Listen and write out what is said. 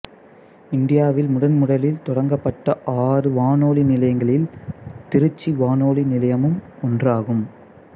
இந்தியாவில் முதன்முதலில் தொடங்கப்பட்ட ஆறு வானொலி நிலையங்களில் திருச்சி வானொலி நிலையமும் ஒன்றாகும்